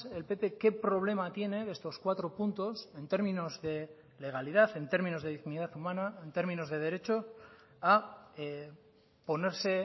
el pp qué problema tiene de estos cuatro puntos en términos de legalidad en términos de dignidad humana en términos de derecho a ponerse